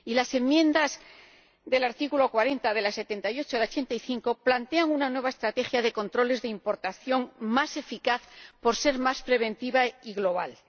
Y las enmiendas al artículo 40, de la 78 a la 85, plantean una nueva estrategia de controles de importación más eficaz por ser más preventiva y global.